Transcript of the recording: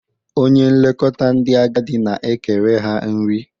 Onye nlekọta ndị agadị na-ekere ha nri.